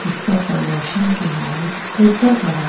इसका प्रमोशन के यहां एक स्कूटर खड़ा--